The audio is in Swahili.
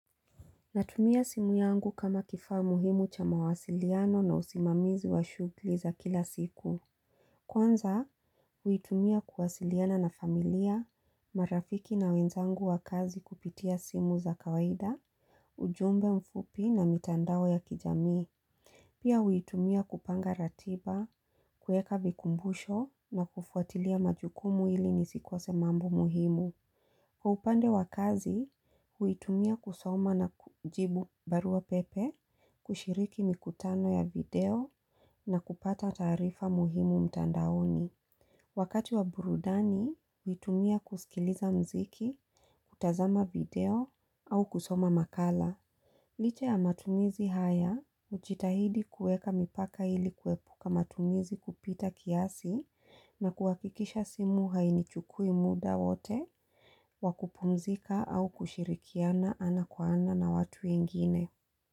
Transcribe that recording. Natumia simu yangu kama kifaa muhimu cha mawasiliano na usimamizi wa shughli za kila siku Kwanza, huitumia kuwasiliana na familia, marafiki na wenzangu wa kazi kupitia simu za kawaida, ujumbe mfupi na mitandao ya kijamii Pia huitumia kupanga ratiba, kueka vikumbusho na kufuatilia majukumu ili nisikose mambo muhimu kwa upande wa kazi, huitumia kusoma na kujibu barua pepe, kushiriki mikutano ya video na kupata taarifa muhimu mtandaoni. Wakati wa burudani, huitumia kusikiliza mziki, kutazama video au kusoma makala. Liche ya matumizi haya, hujitahidi kueka mipaka ili kwepuka matumizi kupita kiasi na kuhakikisha simu hainichukui muda wote, wa kupumzika au kushirikiana ana kwa ana na watu ingine.